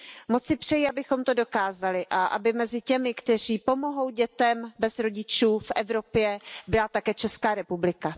Moc si přeji, abychom to dokázali a aby mezi těmi, kteří pomohou dětem bez rodičů v Evropě, byla také Česká republika.